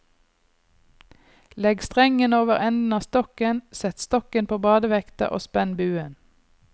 Legg strengen over enden av stokken, sett stokken på badevekta og spenn buen.